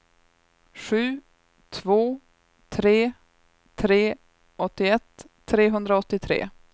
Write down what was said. sju två tre tre åttioett trehundraåttiotre